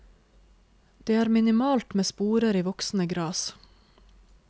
Det er minimalt med sporer i voksende gras.